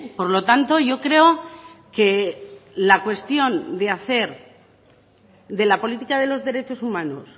por lo tanto yo creo que la cuestión de hacer de la política de los derechos humanos